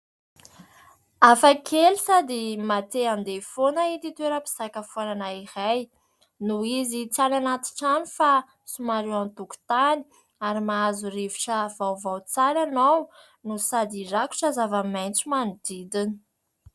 Hafa kely sady mahatia an-deha foana ity toeram-pisakafoana iray noho izy tsy any anaty trano fa somary eo an-tokotany ary mahazo rivotra vaovao tsara ianao no sady rakotra zava-maintso manodidina.